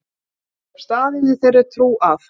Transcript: Ég hafði staðið í þeirri trú að